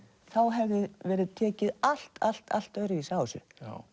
hefði verið tekið allt allt allt öðruvísi á þessu